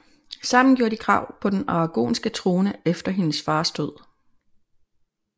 Sammen gjorde de krav på den aragonske trone efter hendes fars død